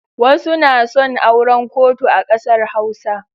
Wasu na son auran kotu a ƙasar Hausa.